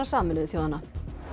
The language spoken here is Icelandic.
Sameinuðu þjóðanna